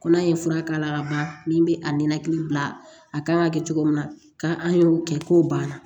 Ko n'a ye fura k'a la ka ban min bɛ a ninakili bila a kan ka kɛ cogo min na ka an y'o kɛ k'o banna